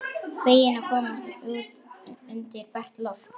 Feginn að komast út undir bert loft.